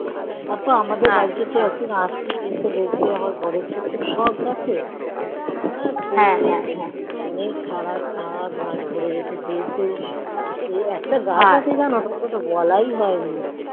আর তো আমাদের বাড়িতে একটু আসবি এসে দেখিস সব গাছ অরে সে সারা চাদ ভোরে গিয়েছে গাছে একটা গাছ আছে যেন সেটা তো বলাই হয় নি